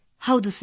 ಹೌದು ಸರ್